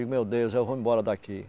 Digo, meu Deus, eu vou me embora daqui.